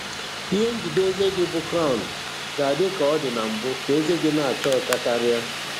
Ihe njide eze gị bụ Crown ga-adị ka ọ dị na mbụ ka eze gị na-acha ọcha karịa.